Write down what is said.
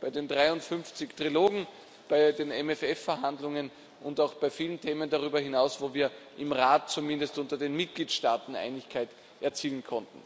bei den 53 Trilogen, bei den MFR Verhandlungen und auch bei vielen Themen darüber hinaus, wo wir im Rat zumindest unter den Mitgliedstaaten Einigkeit erzielen konnten.